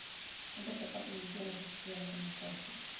interdepartementele geskrewe kommunikasie